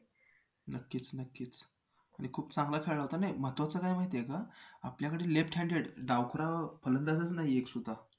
नक्कीच नक्कीच आणि खूप चांगला खेळला होता, नाही महत्वाचं काय माहिती आहे का आपल्याकडे left handed डावखुरा फलंदाजच नाही एकसुद्धा